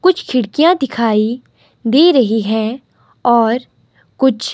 कुछ खिड़कियां दिखाई दे रही हैं और कुछ--